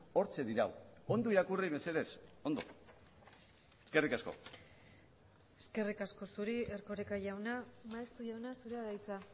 hortxe dirau ondo irakurri mesedez eskerrik asko eskerrik asko zuri erkoreka jauna maeztu jauna zurea da hitza